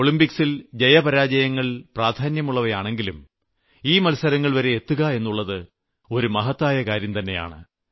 ഒളിംമ്പിക്സിൽ ജയപരാജയങ്ങൾ പ്രാധാന്യമുള്ളവയാണെങ്കിലും ഈ മത്സരങ്ങൾവരെ എത്തുക എന്നുള്ളത് ഒരു മഹത്തായ കാര്യംതന്നെയാണ്